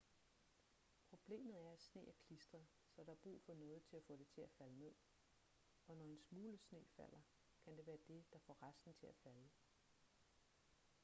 problemet er at sne er klistret så der er brug for noget til at få det til at falde ned og når en smule sne falder kan være dét der får resten til at falde